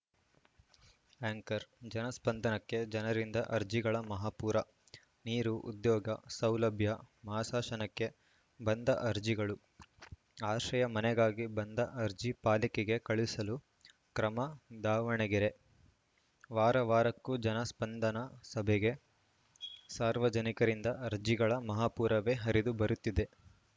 anchor ಜನಸ್ಪಂದನಕ್ಕೆ ಜನರಿಂದ ಅರ್ಜಿಗಳ ಮಹಾಪೂರ ನೀರು ಉದ್ಯೋಗ ಸೌಲಭ್ಯ ಮಾಸಾಶನಕ್ಕೆ ಬಂದ ಅರ್ಜಿಗಳು ಆಶ್ರಯ ಮನೆಗಾಗಿ ಬಂದ ಅರ್ಜಿ ಪಾಲಿಕೆಗೆ ಕಳಿಸಲು ಕ್ರಮ ದಾವಣಗೆರೆ ವಾರ ವಾರಕ್ಕೂ ಜನ ಸ್ಪಂದನ ಸಭೆಗೆ ಸಾರ್ವಜನಿಕರಿಂದ ಅರ್ಜಿಗಳ ಮಹಾಪೂರವೇ ಹರಿದು ಬರುತ್ತಿದೆ